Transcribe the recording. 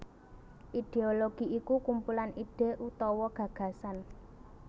Idéologi iku kumpulan ide utawa gagasan